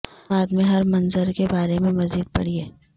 بعد میں ہر منظر کے بارے میں مزید پڑھیں